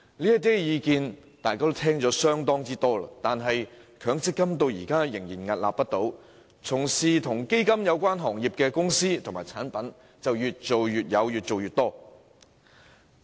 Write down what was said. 這些意見大家都耳熟能詳，但強積金制度至今仍然屹立不倒，從事基金行業的公司長做長有，產品更層出不窮。